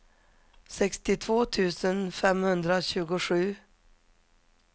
sextiotvå tusen femhundratjugosju